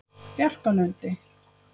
Bjarkalundi